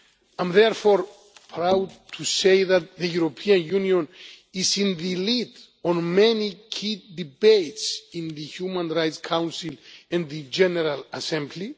I am therefore proud to say that the European Union is in the lead on many key debates in the Human Rights Council in the General Assembly.